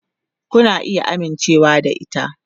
Kuna iya amincewa da ita.